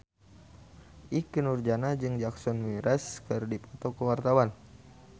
Ikke Nurjanah jeung Jason Mraz keur dipoto ku wartawan